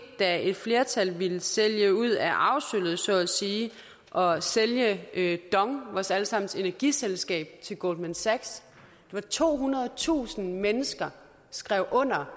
da et flertal ville sælge ud af arvesølvet og sælge dong vores alle sammens energiselskab til goldman sachs tohundredetusind mennesker skrev under